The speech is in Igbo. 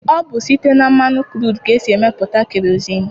Ọ bụ site na mmanụ kruudu ka esi emepụta kerozinụ.